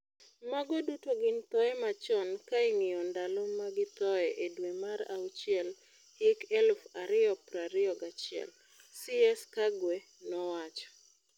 "Mago duto gin thoe machon kaing'io ndalo magithoe e dwe mar auchiel hik eluf ario prario gachiel," CS Kagwe nowacho.